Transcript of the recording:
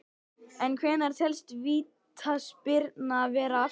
En hvenær telst vítaspyrna vera afstaðin?